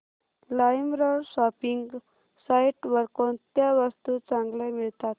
LimeRoad shopping site वर कोणत्या वस्तू चांगल्या मिळतात